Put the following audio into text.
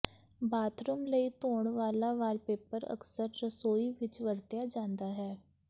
bathroom ਲਈ ਧੋਣ ਵਾਲਾ ਵਾਲਪੇਪਰ ਅਕਸਰ ਰਸੋਈ ਵਿਚ ਵਰਤਿਆ ਜਾਂਦਾ ਹੈ